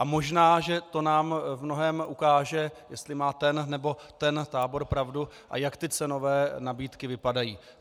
A možná že to nám v mnohém ukáže, jestli má ten nebo ten tábor pravdu a jak ty cenové nabídky vypadají.